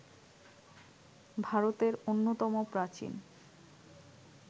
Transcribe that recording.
ভারতের অন্যতম প্রাচীন